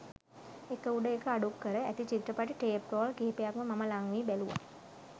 එක උඩ එක අඩුක්කර ඇති චිත්‍රපටි ටේප් රෝල් කිහිපයක් මම ළංවී බැලුවා